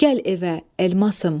Gəl evə, elmasım.